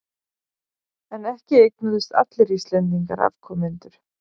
En ekki eignuðust allir Íslendingar afkomendur.